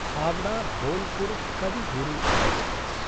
हावडा–बोलपुर् कवि गुरु एक्स्प्रेस्